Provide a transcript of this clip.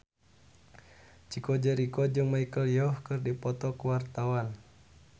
Chico Jericho jeung Michelle Yeoh keur dipoto ku wartawan